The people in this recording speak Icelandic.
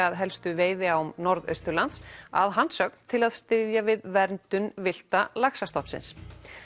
að helstu veiðiám Norðausturlands að hans sögn til að styðja við verndum villta laxastofnsins